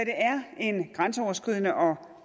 er en grænseoverskridende og